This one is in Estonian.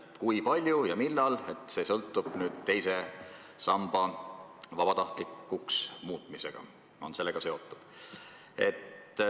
Kui palju ja millal pensione tõstetakse, sõltub nüüd teise samba vabatahtlikuks muutmisest.